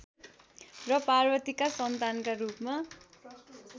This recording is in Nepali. र पार्वतीका सन्तानका रूपमा